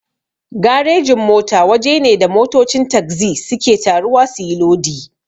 Garejin-mota waje ne da motocin tagzi suke taruwa suyi lodi.